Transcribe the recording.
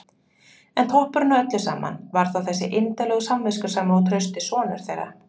En toppurinn á öllu saman var þó þessi indæli og samviskusami og trausti sonur þeirra!